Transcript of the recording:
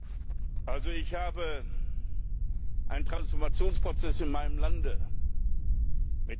Ich habe einen Transformationsprozess in meinem Land mitgemacht.